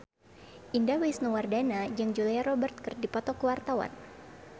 Indah Wisnuwardana jeung Julia Robert keur dipoto ku wartawan